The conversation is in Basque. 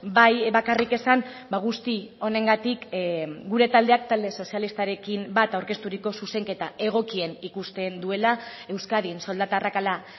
bai bakarrik esan guzti honengatik gure taldeak talde sozialistarekin bat aurkezturiko zuzenketa egokien ikusten duela euskadin soldata arrakala